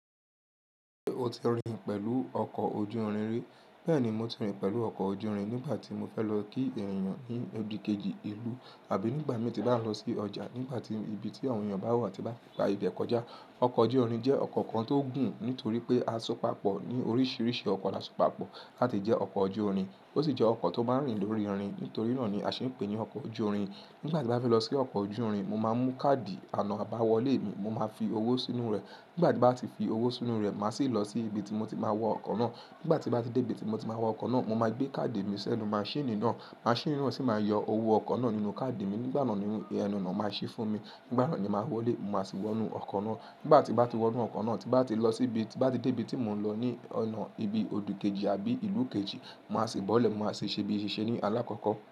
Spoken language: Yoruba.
Ṣé o ti rìn pẹ̀lú ọkọ̀ ojú-irin rí? Bẹ́ẹ̀ni, mo ti rìn pẹ̀lú ọkọ̀ ojú-irin nígbàtí mo fẹ́ lọ kí èèniyàn ní odi kejì ìlú tàbí nígbàmi tín mo bá lọ sí ọjà, nígbàtí ibi tí àwọn èèyàn bá wà tí bá ti gba ibẹ̀ kọjá. Ọkọ̀ ojú-irin jẹ́ ọkọ̀ kan tó gùn nítorí pé a asopápọ̀ ní oríṣiríṣi ọkọ̀ la sopápọ̀ láti jẹ́ ọkọ̀ ojú-irin. Ó sì jẹ́ ọkọ̀ tó máa rìn lórí irin. Nítorí náà ni a sì pe ní ọkọ̀ ojú-irin. Nígbà tí a bá fẹ́ lọ sí ọkọ̀ ojú-irin, mo máa mú káàdì àná àbáwọlé mi, mo máa fi owó sínú rẹ̀. Nígbà tí mo bá ti fi owó sínú rẹ̀, màá sì lọ sí ibi tí mo ti máa wọ ọkọ̀ náà. Nígbà tí mo bá ti dé ibi tí mo ti máa wọ ọkọ̀ náà, mo máa gbé káàdì mi sínú maṣíìnì náà. Maṣíìnì náà sì máa yọ owó ọkọ̀ náà nínú káàdì mi. Nígbà náà ni ẹ̀nu oná máa ṣí fún mi. Nígbà náà ni màá wọlé, mo máa sì wọnú ọkọ̀ náà. Nígbà tí mo bá ti wọnú ọkọ̀ náà, tí mo bá ti lọ síbi, tí mo bá ti dé ibi tí mò ń lọ, ní ọ̀nà ibi odi kejì àbí ìlú kejì, màá sì bọ́lẹ̀, màá sì ṣe bí i ṣe ṣe ní alákọ̀kọ́.